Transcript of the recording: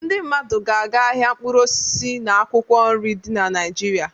Ndị mmadụ ga-aga ahịa mkpụrụ osisi na akwụkwọ nri dị na Naịjirịa.